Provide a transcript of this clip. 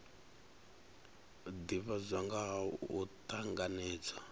divhadzwa nga ha u tanganedzwa